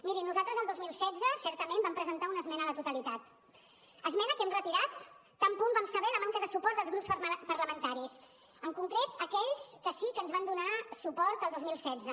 mirin nosaltres el dos mil setze certament vam presentar una esmena a la totalitat esmena que vam retirar tan bon punt vam saber la manca de suport dels grups parlamentaris en concret d’aquells que sí que ens van donar suport el dos mil setze